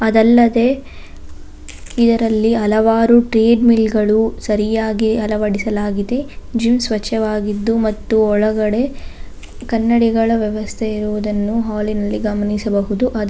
ಅದಲ್ಲದೆ ಇದರಲ್ಲಿ ಹಲವಾರು ಟ್ರೇಡ್ ಮಿಲ್ ಗಳು ಸರಿಯಾಗಿ ಅಳವಡಿಸಲಾಗಿದೆ ಜು ಸ್ವಚ್ಚವಾಗಿದ್ದು ಮತ್ತು ಒಳಗಡೆ ಕನ್ನಡಿಗಳ ವ್ಯವಸ್ಥೆ ಇರುವುದನ್ನು ಹಾಲಿ ನಲ್ಲಿ ಗಮನಿಸಬಹುದು ಅದ --